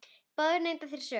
Báðir neita þeir sök.